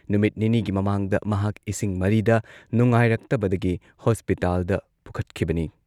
ꯅꯨꯃꯤꯠ ꯅꯤꯅꯤꯒꯤ ꯃꯃꯥꯡꯗ ꯃꯍꯥꯛ ꯏꯁꯤꯡ ꯃꯔꯤꯗ ꯅꯨꯡꯉꯥꯏꯔꯛꯇꯕꯗꯒꯤ ꯍꯣꯁꯄꯤꯇꯥꯜꯗ ꯄꯨꯈꯠꯈꯤꯕꯅꯤ ꯫